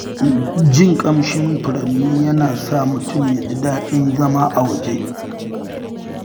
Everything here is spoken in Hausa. Jin ƙamshin furanni yana sa mutum ya ji daɗin zama a waje.